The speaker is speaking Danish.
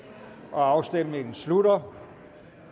afstemningen slutter